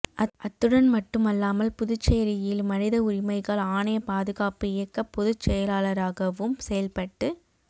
அத்துடன் மட்டுமல்லாமல் புதுச்சேரியில் மனித உரிமைகள் ஆணைய பாதுகாப்பு இயக்க பொதுச்செயலாளராகவும் செயல்பட்டு